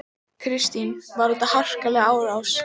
Kristín: Var þetta harkaleg árás?